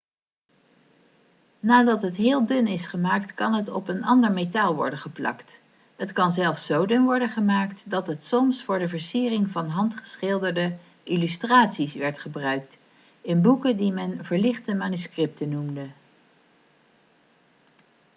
nadat het heel dun is gemaakt kan het op een ander metaal worden geplakt het kan zelfs zo dun worden gemaakt dat het soms voor de versiering van handgeschilderde illustraties werd gebruikt in boeken die men verlichte manuscripten' noemde